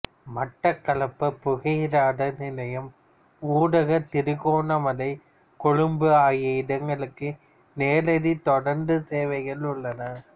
மட்டக்களப்பு புகையிரத நிலையம் ஊடாகத் திருகோணமலை கொழும்பு ஆகிய இடங்களுக்கு நேரடி தொடருந்து சேவைகள் உள்ளன